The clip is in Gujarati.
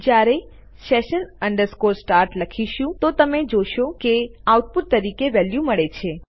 જ્યારે આપણે session start લખીએ છીએ તો તમે જોઈ શકો છો કે આપણને આઉટપુટ તરીકે વેલ્યુ મળે છે